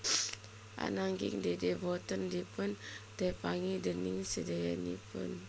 Ananging Dede boten dipun tepangi déning sedayanipun